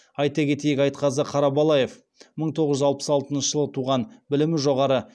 айта кетейік айтқазы қарабалаев мың тоғыз жүз алпыс алтыншы жылы туған білімі жоғары